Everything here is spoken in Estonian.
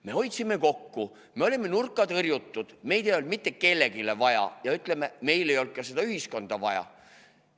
Me hoidsime kokku, me olime nurka tõrjutud, meid ei olnud mitte kellelegi vaja ja, ütleme, meil ei olnud ka seda ühiskonda vaja.